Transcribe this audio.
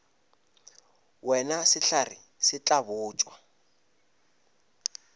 wena sehlare se tla botšwa